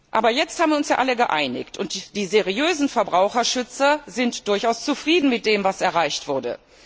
Aber jetzt haben wir uns ja alle geeinigt, und die seriösen Verbraucherschützer sind durchaus zufrieden mit dem, was erreicht wurde.